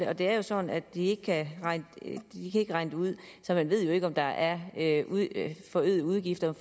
og det er jo sådan at de ikke kan regne dem ud så man ved jo ikke om der er forøgede udgifter